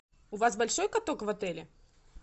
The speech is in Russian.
у вас большой каток в отеле